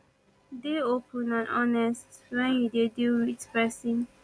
dey open and honest when you dey deal with person